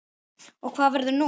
Og hvað verður nú?